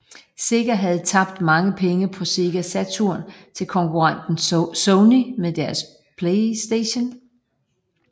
Sega havde tabt mange penge på Sega Saturn til konkurrenten Sony med deres Playstation